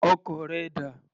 Ọkọ̀ rẹ dà?